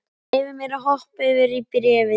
Ég leyfi mér að hoppa yfir í bréfið.